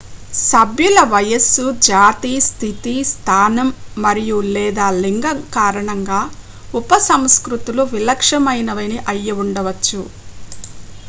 సభ్యుల వయస్సు జాతి స్థితి స్థానం మరియు / లేదా లింగం కారణంగా ఉపసంస్కృతులు విలక్షణమైనవి అయ్యుండచ్చు